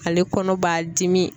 Ale kɔnɔ b'a dimi.